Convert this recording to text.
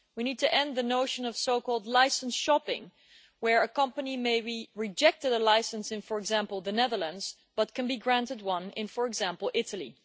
We need to end the notion of so called licence shopping' where a company maybe rejected a licence in, for example, the Netherlands, but can be granted one in, for example, Italy.